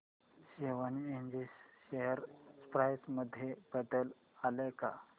Swan energy share price मध्ये बदल आलाय का